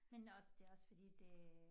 Men også det også fordi det